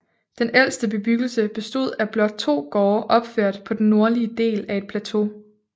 Den ældste bebyggelse bestod af blot to gårde opført på den nordlige del af et plateau